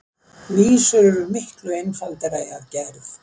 Vísur eru miklu einfaldari að gerð.